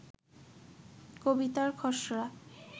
কবিতার খসড়া